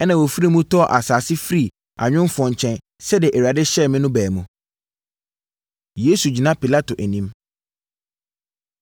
ɛnna wɔfiri mu tɔɔ asase firii anwomfoɔ nkyɛn, sɛdeɛ Awurade hyɛɛ me” no baa mu. Yesu Gyina Pilato Anim